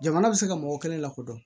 Jamana bɛ se ka mɔgɔ kelen lakodɔn